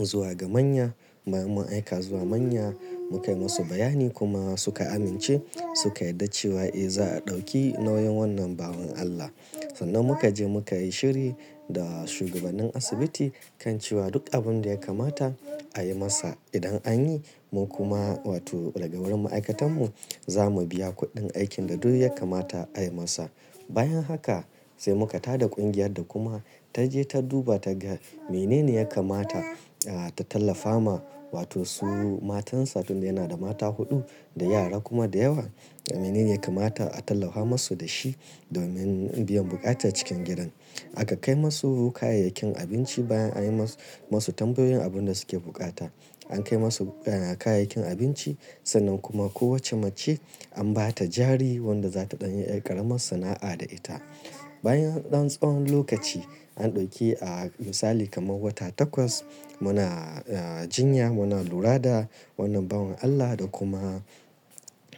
zuwa ga manya bayan mun aika zuwa manya muka yi musu bayani kuma suka amince suka yarda cewa eh za a ɗauki nauyin wannan bawan Allah. Sannan muka je muka yi shiri da shugabanin asibiti kan cewa duk abin da ya kamata a yi masa idan an yi mun kuma wato daga wurin ma'aikatan mu za mu biya kuɗin aikin da duk ya kamata a yi masa. Bayan haka sai muka tada kungiyar da kuma ta je ta duba ta ga menene ya kamata a, ta tallafa ma wato su matansa tunda yana da mata huɗu da yara kuma da yawa menene ya kamata a tallafa musu da shi domin biyan buƙata cikin gidan. Aka kai musu kayayyakin abinci bayan an yi mas-masu tambayoyin abin da suke buƙata. An kai musu yana kayayyakin abinci sannan kuma kowacce mace an ba ta jari wadda za ta ɗan yi ƙaramar sana'a da ita. Bayan ɗan tsawon lokaci an ɗauki a misali kamar wata takwas muna a, a jinya muna lura da wannan bawon Allah da kuma,